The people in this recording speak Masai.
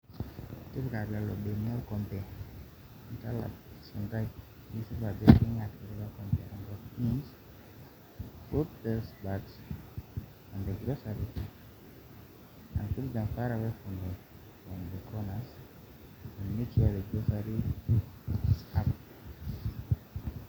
Tipika lelo benia orkompe nitalap esuntai nisip ajo kingat ilo kompe enkop